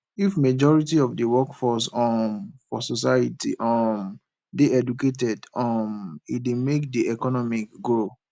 if majority of the workforce um for society um de educated um e de make di economy grow